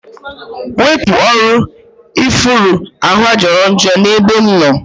Wepụ ọrụ ifuru ahụa jọrọ njọ n'ebe m nọ